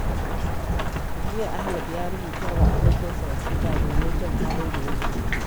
Jiya, Ahmed ya rubuta wa abokinsa wasiƙa domin jin halin da yake ciki.